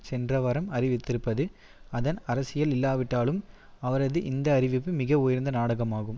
சென்ற வாரம் அறிவித்திருப்பது அதன் அரசியல் இல்லாவிட்டாலும் அவரது இந்த அறிவிப்பு மிக உயர்ந்த நாடாகமாகும்